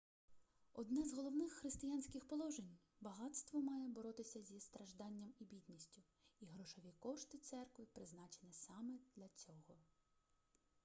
одне з головних християнських положень багатство має боротися зі стражданням і бідністю і грошові кошти церкви призначені саме для цього